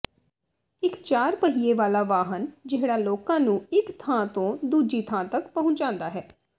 ਇੱਕ ਚਾਰ ਪਹੀਏ ਵਾਲਾ ਵਾਹਨ ਜਿਹੜਾ ਲੋਕਾਂ ਨੂੰ ਇੱਕ ਥਾਂ ਤੋਂ ਦੂਜੀ ਤੱਕ ਪਹੁੰਚਾਉਂਦਾ ਹੈ